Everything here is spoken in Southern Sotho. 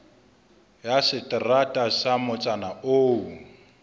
ya seterata sa motsana oo